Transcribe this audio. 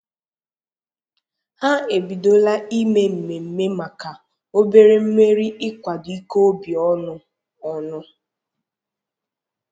Ha ebidola ime mmemme maka obere mmeri ikwado ike obi ọnụ ọnụ